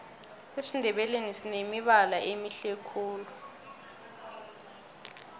esindebeleni sinemibala emihle khulu